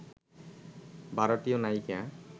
ভারতীয় নায়িকা